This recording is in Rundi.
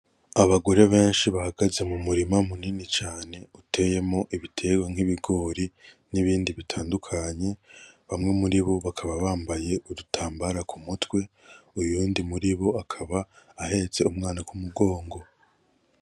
Abagore benshi bahagaze mumurima munini cane iteyemwo ibiterwa nkibigori nibindi bitandukanye bamwe muribo bakaba bambaye udutambaro kumutwe, uyundi muribo akaba ahetse umwana kumugongo.